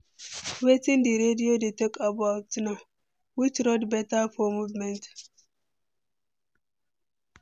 Wetin di radio dey talk about now, which road beta for movement?